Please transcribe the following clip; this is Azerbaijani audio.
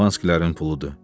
Şampanskilərin puludur.